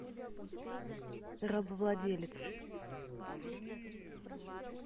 рабовладелец